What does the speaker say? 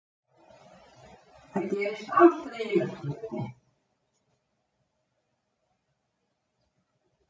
Það gerist aldrei í náttúrunni.